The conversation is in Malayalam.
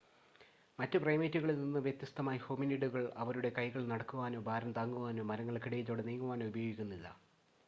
മറ്റ് പ്രൈമേറ്റുകളിൽ നിന്ന് വ്യത്യസ്തമായി ഹോമിനിഡുകൾ അവരുടെ കൈകൾ നടക്കുവാനോ ഭാരം താങ്ങുവാനോ മരങ്ങൾക്കിടയിലൂടെ നീങ്ങുവാനോ ഉപയോഗിക്കുന്നില്ല